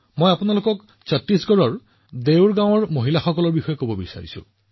মই আপোনাক ছত্তীশগড়ৰ দেউৰ গাঁৱৰ মহিলাসকলৰ বিষয়েও কব বিচাৰো